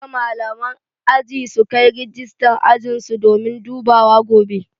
Duka malaman aji sukai rijistan ajinsu domin dubawa gobe